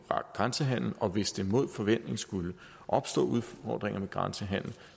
grænsehandelen og hvis der mod forventning skulle opstå udfordringer med grænsehandel